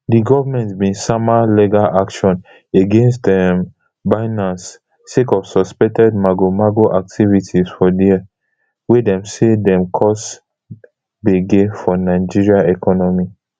di goment bin sama legal action against um binance sake of suspected magomago activity for dia wey dem say dey cause gbege for nigeria economy